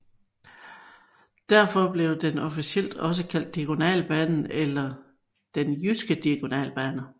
Derfor blev den officielt også kaldt Diagonalbanen eller Den jyske diagonalbane